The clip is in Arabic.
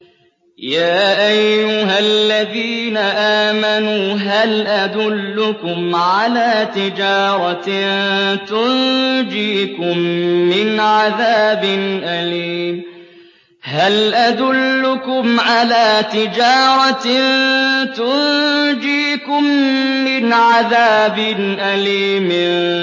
يَا أَيُّهَا الَّذِينَ آمَنُوا هَلْ أَدُلُّكُمْ عَلَىٰ تِجَارَةٍ تُنجِيكُم مِّنْ عَذَابٍ أَلِيمٍ